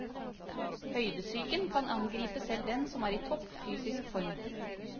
Høydesyken kan angripe selv den som er i topp fysisk form.